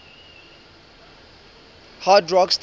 hard rock stations